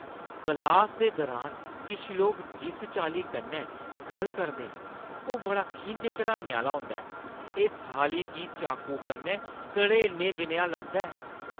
क्लासा दे दुरान किश लोक जिस चाल्ली कन्नै गल्ल करदे न ओह् बड़ा खिंझ चढ़ाने आह्‌ला होंदा ऐ; एह् थाली गी चाकू कन्नै घरेड़ने जनेहा लगदा ऐ।